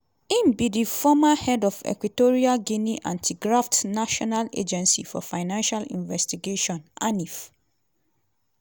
im be di former head of equatorial guinea anti-graft national agency for financial investigation (anif).